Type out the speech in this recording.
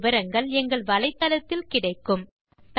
மேற்கொண்டு விவரங்கள் வலைத்தளத்தில் கிடைக்கும்